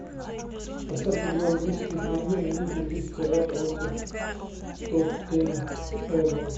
поставь игру английской премьер лиги лестера против тоттенхэма